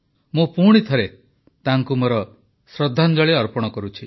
ମୁଁ ପୁଣିଥରେ ତାଙ୍କୁ ମୋର ଶ୍ରଦ୍ଧାଞ୍ଜଳି ଅର୍ପଣ କରୁଛି